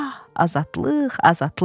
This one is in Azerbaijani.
Ah, azadlıq, azadlıq!